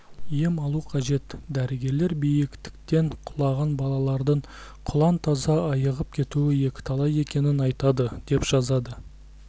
ем алу қажет дәрігерлер биіктіктен құлаған балалардың құлан-таза айығып кетуі екіталай екенін айтады деп жазады